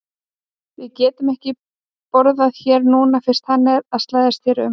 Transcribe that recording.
Við getum ekki borðað hér núna fyrst hann er að slæðast hér um